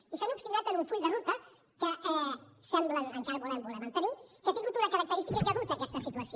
i s’han obstinat en un full de ruta que semblen encara voler mantenir que ha tingut una característica que ha dut a aquesta situació